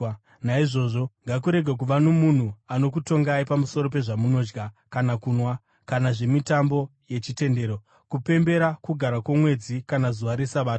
Naizvozvo ngakurege kuva nomunhu anokutongai pamusoro pezvamunodya kana kunwa, kana nezvemitambo yechitendero, kupemberera Kugara kwoMwedzi kana zuva reSabata.